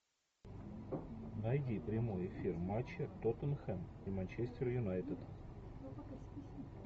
найди прямой эфир матча тоттенхэм и манчестер юнайтед